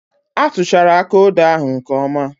A tuchara aka odo ahụ nke oma